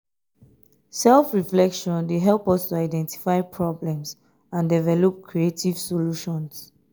self-reflection dey help us to identify problems and develop creative solutions.